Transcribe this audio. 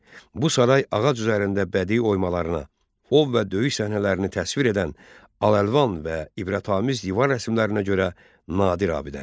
Bu saray ağac üzərində bədii oymalarına, ov və döyüş səhnələrini təsvir edən al-əlvan və ibrətamiz divar rəsmlərinə görə nadir abidədir.